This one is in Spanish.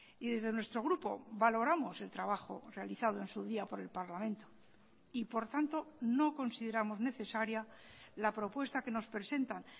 y desde nuestro grupo valoramos el trabajo realizado en su día por el parlamento y por tanto no consideramos necesaria la propuesta que nos presentan